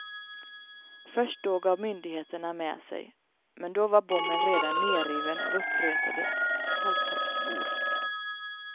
Först då gav myndigheterna med sig, men då var bommen redan nerriven av uppretade toltorpsbor.